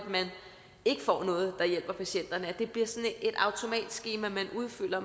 ikke noget der hjælper patienterne altså at det bliver sådan et automatskema man udfylder